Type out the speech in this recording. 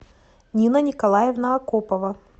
нина николаевна акопова